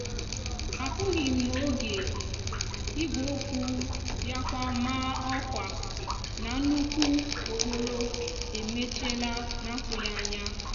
apúghim n'oge igwe okwu biakwa maa òkwa na nnukwu okporo emechiela n'atúghi anya.